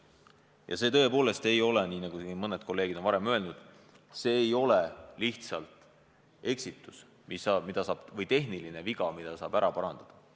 Ja see tõepoolest ei ole, nagu siin mõned kolleegid on väitud, lihtsalt tehniline viga, mille saab niisama ära parandada.